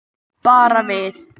Bara við.